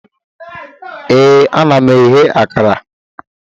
Ee, ana m eghe akara